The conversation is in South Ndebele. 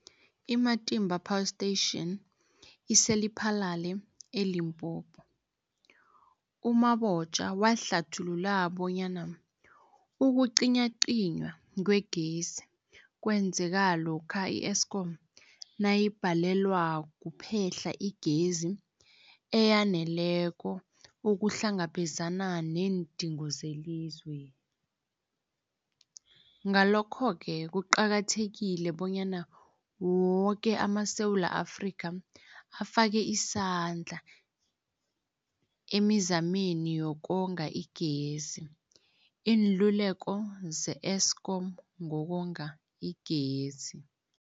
I-Matimba Power Station ise-Lephalale, eLimpopo. U-Mabotja wahlathulula bonyana ukucinywacinywa kwegezi kwenzeka lokha i-Eskom nayibhalelwa kuphehla igezi eyaneleko ukuhlangabezana neendingo zelizwe. Ngalokho-ke kuqakathekile bonyana woke amaSewula Afrika afake isandla emizameni yokonga igezi. Iinluleko ze-Eskom ngokonga igezi.